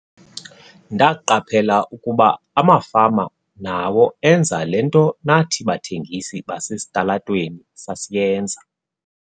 "Ndaqaphela ukuba amafama nawo enza le nto nathi bathengisi basesitalatweni sasiyenza."